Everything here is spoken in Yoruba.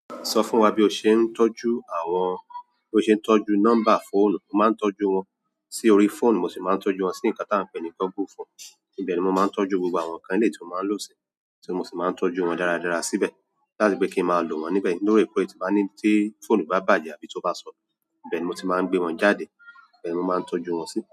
Sọ fún wa bí o ṣe ń tọ́jú àwọn-- bí o ṣe ń tọ́jú nọ́mbà fóònù. Mo maa n tọ́jú wọn si orí fóònù mo si maan tọ́jú si nkan ti a n pe ni google form níbẹ̀ ni mo máa ń tọ́jú gbogbo àwọn káǹtì tí mo máa ń lò sí, tí mo sì máa ń tọ́jú wọn dáradára síbẹ̀ láti pe kí n máa lò wọ́n níbẹ̀. Lórí ẹ̀kọ́ ẹ ti bá ní tí fóònù bá bàjẹ́ àbí tó bá sonu, ibẹ́ẹ̀ ni mo ti máa ń gbé wọn jáde, ibẹ́ẹ̀ ni mo máa ń tọ́jú wọn sí.